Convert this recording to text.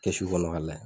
Kɛsu kɔnɔ ka layɛ